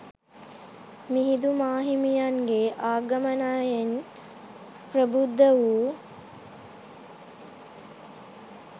මිහිඳු මාහිමියන්ගේ ආගමනයෙන් ප්‍රබුද්ධ වූ